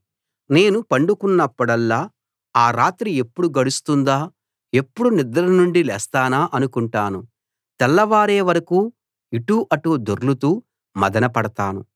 నేను పండుకున్నప్పుడల్లా ఆ రాత్రి ఎప్పుడు గడుస్తుందా ఎప్పుడు నిద్ర నుండి లేస్తానా అనుకుంటాను తెల్లవారే వరకూ ఇటూ అటూ దొర్లుతూ మధనపడతాను